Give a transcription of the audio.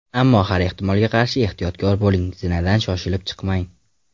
Ammo har ehtimolga qarshi ehtiyotkor bo‘ling, zinadan shoshib chiqmang.